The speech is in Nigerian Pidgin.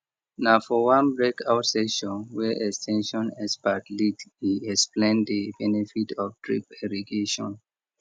na for one breakout session wey ex ten sion experts lead e explain the benefit of drip irrigation